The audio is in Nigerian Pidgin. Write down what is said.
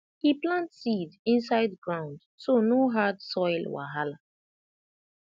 e plant seed inside ground so no hard soil wahala